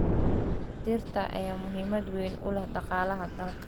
Dhirta ayaa muhiimad weyn u leh dhaqaalaha dalka.